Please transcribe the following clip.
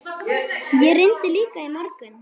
Ég reyndi líka í morgun.